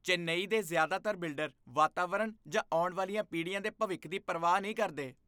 ਚੇਨਈ ਦੇ ਜ਼ਿਆਦਾਤਰ ਬਿਲਡਰ ਵਾਤਾਵਰਨ ਜਾਂ ਆਉਣ ਵਾਲੀਆਂ ਪੀੜ੍ਹੀਆਂ ਦੇ ਭਵਿੱਖ ਦੀ ਪਰਵਾਹ ਨਹੀਂ ਕਰਦੇ।